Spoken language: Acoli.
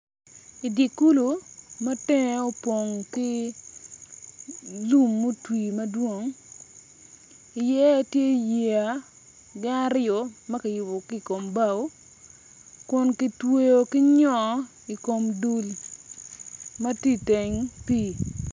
I dye kulu ma teng opong ki lum mutwi madwong iye tye yeya ma kiyubogi ki i kombao kun kitweyo ki nyo i kom dul ma tye i teng pii.